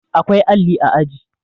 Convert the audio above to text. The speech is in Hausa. awkai alli a aji